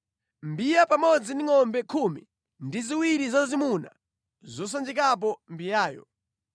mbiya pamodzi ndi ngʼombe khumi ndi ziwiri zazimuna zosanjikapo mbiyayo;